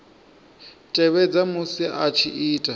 tevhedza musi a tshi ita